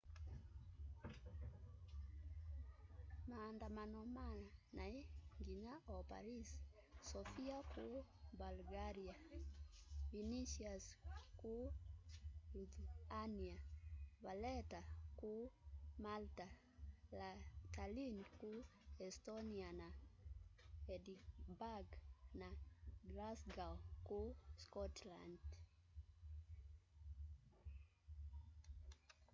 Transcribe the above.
maandamano manai nginya o paris sofia kuu bulgaria vilnius kuu lithuania valetta kuu malta tallinn kuu estonia na edinburgh na glasgow kuu scotland